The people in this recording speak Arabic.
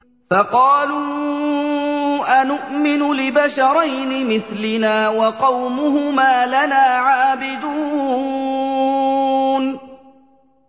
فَقَالُوا أَنُؤْمِنُ لِبَشَرَيْنِ مِثْلِنَا وَقَوْمُهُمَا لَنَا عَابِدُونَ